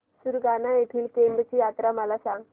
सुरगाणा येथील केम्ब ची यात्रा मला सांग